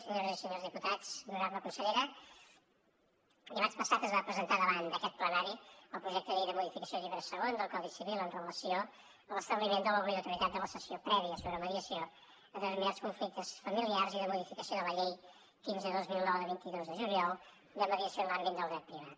senyores i senyors diputats honorable consellera dimarts passat es va presentar davant d’aquest plenari el projecte de llei de modificació del llibre segon del codi civil en relació amb l’establiment de l’obligatorietat de la sessió prèvia sobre mediació en determinats conflictes familiars i de modificació de la llei quinze dos mil nou de vint dos de juliol de mediació en l’àmbit del dret privat